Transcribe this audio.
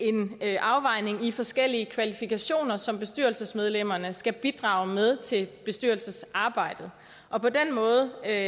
en afvejning i forskellige kvalifikationer som bestyrelsesmedlemmerne skal bidrage med til bestyrelsesarbejdet og på den måde er